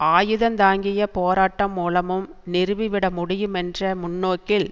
ஆயுதந்தாங்கிய போராட்டம் மூலமும் நிறுவிவிட முடியுமென்ற முன்னோக்கில்